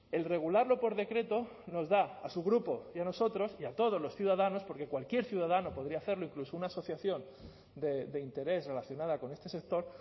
el regularlo por decreto nos da a su grupo y a nosotros y a todos los ciudadanos porque cualquier ciudadano podría hacerlo incluso una asociación de interés relacionada con este sector